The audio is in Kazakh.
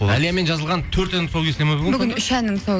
әлиямен жазылған төрт әннің тұсауы кесіледі ма бүгін үш әннің тұсауы